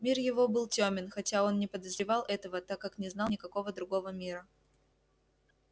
мир его был тёмен хотя он не подозревал этого так как не знал никакого другого мира